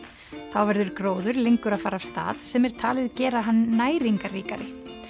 þá verður gróður lengur að fara af stað sem er talið gera hann næringarríkari